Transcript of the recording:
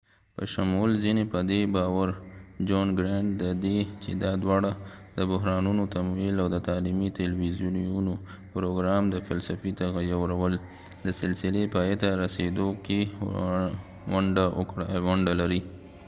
د john grant په شمول ځینې په دې باور دي چې دواړه د بحرانونو تمویل او د تعلیمي تلویزیوني پروګرام د فلسفې تغیرول د سلسلې پایته رسیدو کې ونډه لري